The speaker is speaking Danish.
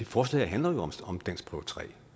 forslaget handler jo om danskprøve tre